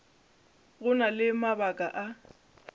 go na le mabaka a